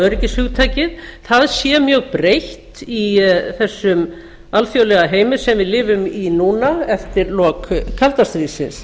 öryggishugtakið sé mjög breytt í þessum alþjóðlega heimi sem við lifum í núna eftir lok kalda stríðsins